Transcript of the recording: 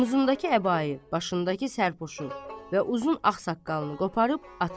Omuzundakı əbayi, başındakı sərpuşu və uzun ağ saqqalını qoparıb atar.